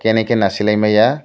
kene ke nai sila maya.